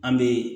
An bɛ